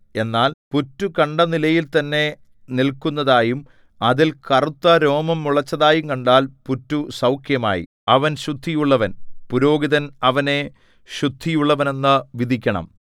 എന്നാൽ പുറ്റു കണ്ട നിലയിൽ തന്നെ നില്‍ക്കുന്നതായും അതിൽ കറുത്ത രോമം മുളച്ചതായും കണ്ടാൽ പുറ്റു സൗഖ്യമായി അവൻ ശുദ്ധിയുള്ളവൻ പുരോഹിതൻ അവനെ ശുദ്ധിയുള്ളവനെന്നു വിധിക്കണം